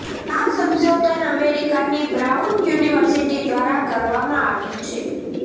આ સંશોધન અમેરિકાની બ્રાઉન યુનિવર્સિટી દ્વારા કરવામાં આવ્યુ છે